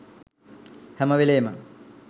හැම වෙලේම